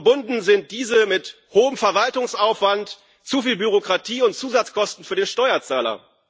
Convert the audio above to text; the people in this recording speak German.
Verbunden sind diese mit hohem Verwaltungsaufwand, zu viel Bürokratie und Zusatzkosten für den Steuerzahler.